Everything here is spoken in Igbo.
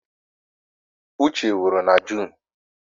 Uche nwụrụ na Junu